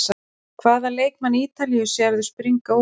Hvaða leikmann Ítalíu sérðu springa út?